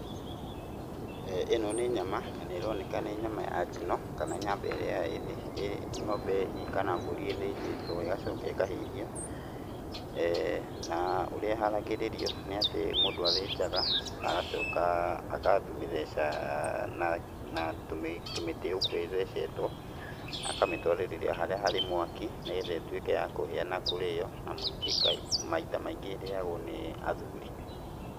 Ĩno nĩ nyama na nĩroneka nĩ nyama ya njino, kana nyama ĩrĩa ng'ombe hihi kana mbũri ĩthĩnjĩtwo ĩgacoka ĩkahĩhio, na ũrĩa ĩharagĩrĩrio nĩatĩ mũndũ athĩnjaga na agacoka akamĩtheca na na tũmĩtĩ ũguo ĩthecetwo, akamĩtwarĩrĩra harĩa harĩ mwaki, nĩgetha ĩtuĩke ya kũhĩa na kũrĩo na mũingĩ maita maingĩ ĩrĩagwo nĩ athuri.